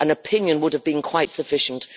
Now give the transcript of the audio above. an opinion would have been quite sufficient.